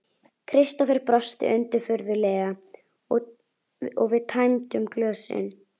Kristófer brosti undirfurðulega og við tæmdum glösin.